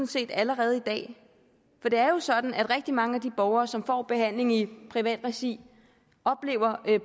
set allerede i dag for det er jo sådan at rigtig mange af de borgere som får behandling i privat regi oplever